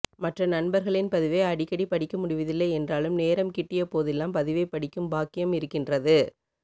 மற்ற நண்பர்களின் பதிவை அடிக்கடி படிக்க முடிவதில்லை என்றாலும் நேரம் கிட்டிய போதெல்லாம் பதிவை படிக்கும் பாக்கியம் இருக்கின்றது